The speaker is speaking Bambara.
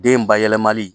Den bayɛlɛmali